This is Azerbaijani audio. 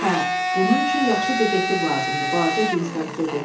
Hə, bunun üçün yaxşı detektiv lazımdır, balaca Dinstaq dedi.